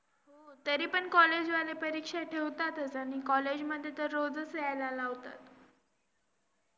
आणि आता तर काय exam चा time चालू हाय.